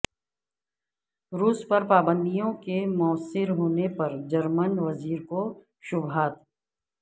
روس پر پابندیوں کے موثر ہونے پر جرمن وزیر کو شبہات